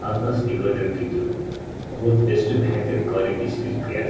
आपका speaker through बहुत वेस्ट बेहतर क्वालिटी किया--